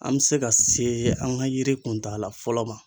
An bɛ se ka se an ŋa yiri kuntagala fɔlɔ ma